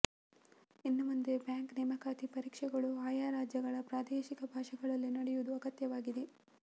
ಇನ್ನುಮುಂದೆ bank ನೇಮಕಾತಿ ಪರೀಕ್ಷೆಗಳು ಆಯಾ ರಾಜ್ಯಗಳ ಪ್ರಾದೇಶಿಕ ಭಾಷೆಗಳಲ್ಲಿ ನಡೆಯುವುದು ಅಗತ್ಯವಾಗಿದೆ